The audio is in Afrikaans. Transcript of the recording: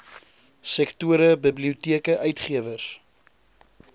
sektore biblioteke uitgewers